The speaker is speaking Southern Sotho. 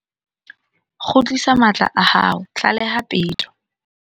Kgutlisa matla a hao, tlaleha peto.